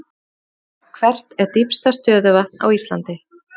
Hvert er dýpsta stöðuvatn á Íslandi?